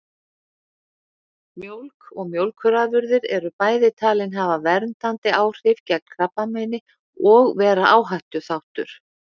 Mjólk og mjólkurafurðir eru bæði talin hafa verndandi áhrif gegn krabbameini og vera áhættuþáttur.